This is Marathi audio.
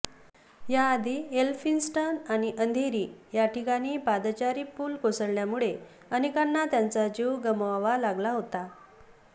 याआधी एलफिंस्टन आणि अंधेरी या ठिकाणी पादचारी पूल कोसळल्यामुळे अनेकांना त्यांचा जीव गमवावा लागला होता